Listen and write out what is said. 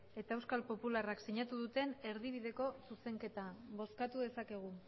eta euskal popularrak sinatu duten erdibideko zuzenketa bozkatu dezakegu